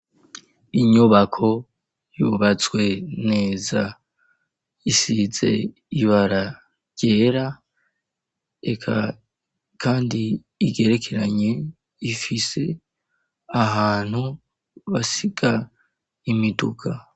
Inyubako yubatswe neza isize ibara ryera eka kandi igerekeranye ifise ahantu basiga imiduka.